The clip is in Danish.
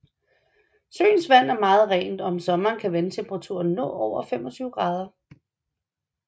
Søens vand er meget rent og om sommeren kan vandtemperaturen nå over 25 grader